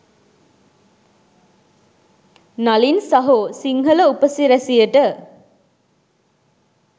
නලින් සහෝ සිංහල උපසිරැසියට.